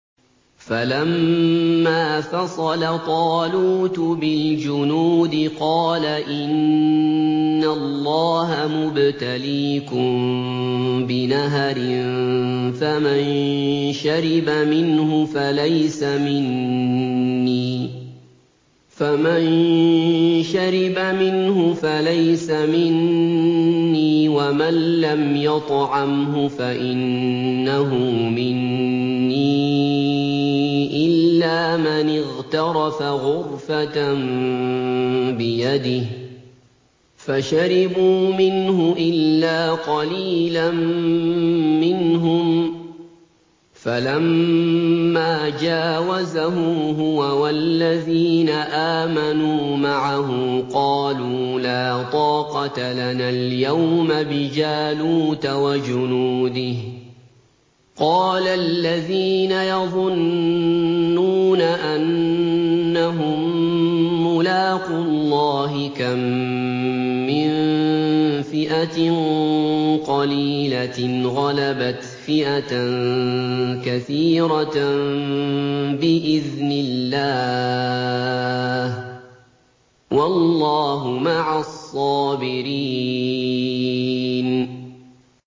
فَلَمَّا فَصَلَ طَالُوتُ بِالْجُنُودِ قَالَ إِنَّ اللَّهَ مُبْتَلِيكُم بِنَهَرٍ فَمَن شَرِبَ مِنْهُ فَلَيْسَ مِنِّي وَمَن لَّمْ يَطْعَمْهُ فَإِنَّهُ مِنِّي إِلَّا مَنِ اغْتَرَفَ غُرْفَةً بِيَدِهِ ۚ فَشَرِبُوا مِنْهُ إِلَّا قَلِيلًا مِّنْهُمْ ۚ فَلَمَّا جَاوَزَهُ هُوَ وَالَّذِينَ آمَنُوا مَعَهُ قَالُوا لَا طَاقَةَ لَنَا الْيَوْمَ بِجَالُوتَ وَجُنُودِهِ ۚ قَالَ الَّذِينَ يَظُنُّونَ أَنَّهُم مُّلَاقُو اللَّهِ كَم مِّن فِئَةٍ قَلِيلَةٍ غَلَبَتْ فِئَةً كَثِيرَةً بِإِذْنِ اللَّهِ ۗ وَاللَّهُ مَعَ الصَّابِرِينَ